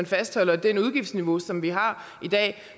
fastholder det udgiftsniveau som vi har i dag